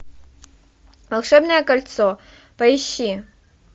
волшебное кольцо поищи